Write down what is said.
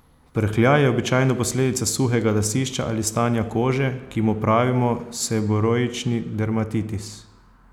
Prhljaj je običajno posledica suhega lasišča ali stanja kože, ki mu pravimo seboroični dermatitis.